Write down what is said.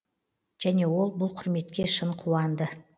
және ол бұл құрметке шын қуанды